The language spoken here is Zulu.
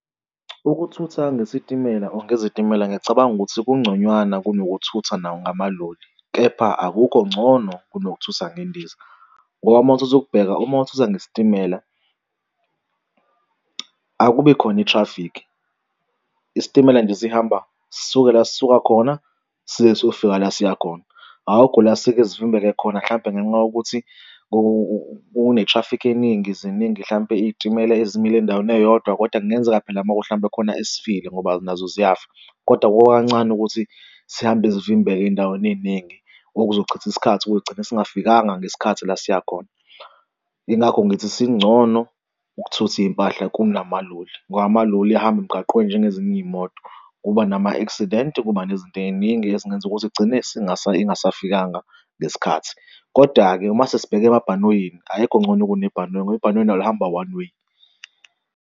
Ukuthutha ngesitimela or ngezitimela ngiyacabanga ukuthi kungconywana kunokuthutha nawo ngamaloli. Kepha akukho ngcono kunokuthutha ngendiza ngoba uma ukuthatha ukubheka uma uthutha ngesitimela akubi khona i-traffic. Isitimela nje sihamba sisuke la sisuka khona size sofika la siya khona, akukho la sisuke sivimbeke khona mhlampe ngenxa yokuthi kune-traffic eningi, ziningi hlampe iy'timela ezimila endaweni eyodwa, kodwa kungenzeka phela uma kuwukuthi mhlawumpe khona esifile ngoba nazo ziyafa. Kodwa kukancane ukuthi sihambe sivimbeka ey'ndaweni ey'ningi okuzochitha isikhathi kugcina singafikanga ngesikhathi la siyakhona. Yingakho ngithi singcono ukuthutha iy'mpahla kunamaoli ngoba amaloli ahamba emgaqweni njengezinye iy'moto, kuba nama-accident kuba nezinto ey'ningi ezingenza ukuthi igcine ingasafikanga ngesikhathi. Koda-ke uma sesibheka emabhanoyini ayikho ngcono kunebhanoyi ngoba ibhanoyi lona lihamba one way.